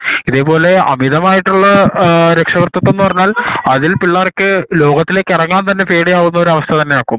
ഇതേപോലെ അമിതമായ രക്ഷകാർത്തിതം എന്ന് പറഞ്ഞാൽ അതിൽ പിള്ളേർക്ക് ലോകത്തിലേക്ക് ഇറങ്ങാൻതന്നെ പേടിയാവുന്ന ഒരു അവസ്ഥ തന്നെ ആക്കും